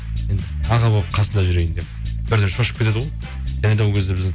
енді аға болып қасында жүрейін деп бірден шошып кетеді ғой және де ол кезде біз